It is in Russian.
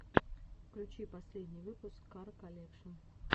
включи последний выпуск кар колекшн